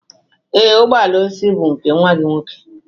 Ee, ụgbọ ala osisi bụ nke nwa gị nwoke.